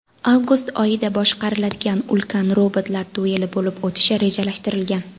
Avgust oyida boshqariladigan ulkan robotlar dueli bo‘lib o‘tishi rejalashtirilgan.